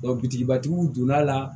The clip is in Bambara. bitigibatigiw donn'a la